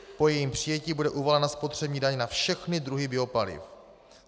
Po jejím přijetí bude uvalena spotřební daň na všechny druhy biopaliv.